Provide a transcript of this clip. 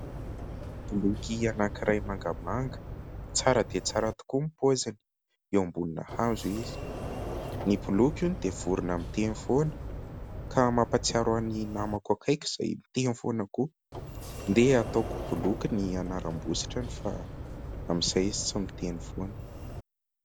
Bloky anankiray mangamanga, tsara dia tsara tokoa ny paoziny, eo ambonina hazo izy, ny bloky hono dia vorona miteny foana ka mampatsiaro ahy ny namako akaiky izay miteny foana koa, andeha ataoko bloky ny anaram-bositrany fa amin'izay izy tsy miteny foana.